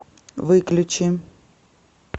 выключи